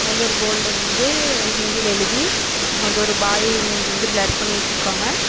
வந்து ஒரு போர்டுல வந்து ஹிந்தில எழுதி அங்க வந்து ஒரு பாய் மூஞ்சிய வந்து பிளர் பண்ணி வச்சுருக்காங்க.